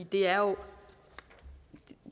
det er jo